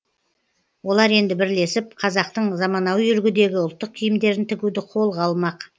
олар енді бірлесіп қазақтың заманауи үлгідегі ұлттық киімдерін тігуді қолға алмақ